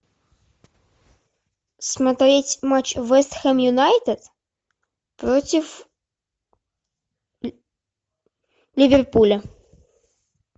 смотреть матч вест хэм юнайтед против ливерпуля